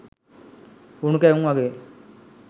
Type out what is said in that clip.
උණු කැවුම් වගේ